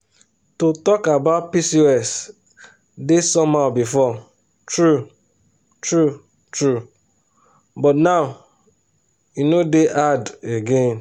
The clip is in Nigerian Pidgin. to talk about pcos dey somehow before true true true but now e no dey hard again.